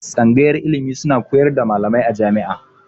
Tsangayar ilimi suna horars da malamai a jami'a